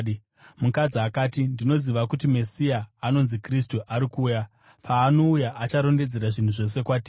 Mukadzi akati, “Ndinoziva kuti Mesiya, anonzi Kristu, ari kuuya. Paanouya, acharondedzera zvinhu zvose kwatiri.”